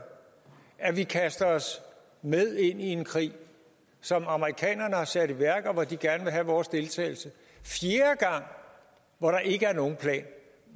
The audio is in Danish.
at vi kaster os med ind i en krig som amerikanerne har sat i værk men hvor de gerne vil have vores deltagelse og hvor der ikke er nogen plan